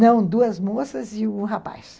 Não, duas moças e um rapaz.